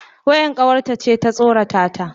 Wayar kawarta ce ta tsorata ta.